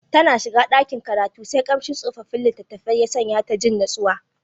Tana shiga dakin karatu sai kamshin tsofaffin litattafai ya sanya ta ji natsuwa.